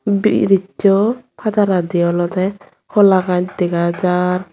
buriz su parajadi olode holagaj dega jar.